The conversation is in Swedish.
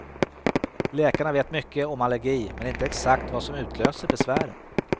Läkarna vet mycket om allergi men inte exakt vad som utlöser besvären.